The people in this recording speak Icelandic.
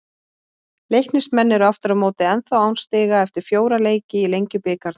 Leiknismenn eru aftur á móti ennþá án stiga eftir fjóra leiki í Lengjubikarnum.